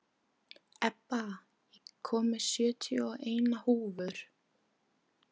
Ebba, ég kom með sjötíu og eina húfur!